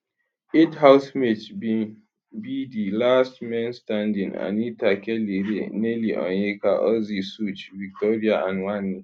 eight housemates bin be di last men standing anita kellyrae nelly onyeka ozee sooj victoria and wanni